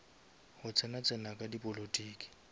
go tsena tsena ga dipolotiki